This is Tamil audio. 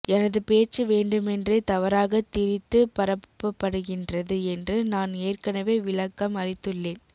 எனது பேச்சு வேண்டுமென்றே தவறாக திரித்து பரப்பப்படுகின்றது என்று நான் ஏற்கனவே விளக்கம் அளித்துள்ளேன்